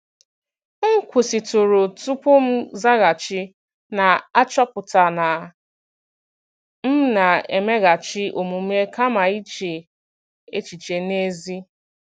M kwụsịtụrụ tupu m zaghachi, na-achọpụta na m na-emeghachi omume kama iche echiche n'ezie.